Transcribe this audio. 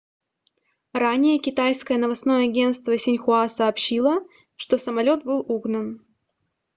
ранее китайское новостное агентство синьхуа сообщило что самолет был угнан